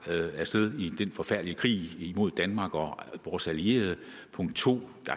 af sted til den forfærdelige krig imod danmark og vores allierede punkt to